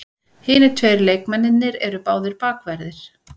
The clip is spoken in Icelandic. Hinir tveir leikmennirnir eru báðir bakverðir